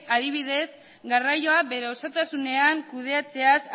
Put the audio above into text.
adibidez garraioa bere osotasunean kudeatzeaz